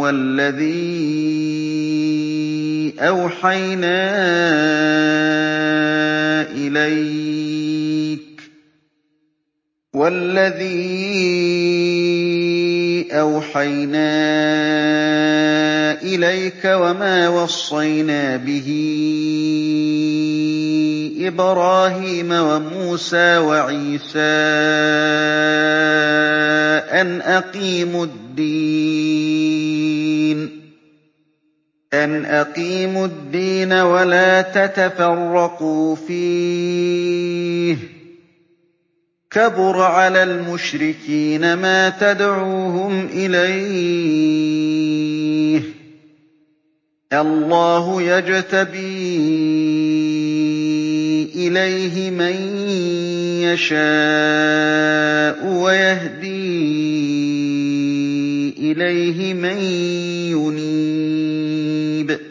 وَالَّذِي أَوْحَيْنَا إِلَيْكَ وَمَا وَصَّيْنَا بِهِ إِبْرَاهِيمَ وَمُوسَىٰ وَعِيسَىٰ ۖ أَنْ أَقِيمُوا الدِّينَ وَلَا تَتَفَرَّقُوا فِيهِ ۚ كَبُرَ عَلَى الْمُشْرِكِينَ مَا تَدْعُوهُمْ إِلَيْهِ ۚ اللَّهُ يَجْتَبِي إِلَيْهِ مَن يَشَاءُ وَيَهْدِي إِلَيْهِ مَن يُنِيبُ